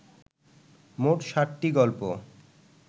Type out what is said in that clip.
মোট ষাটটি গল্প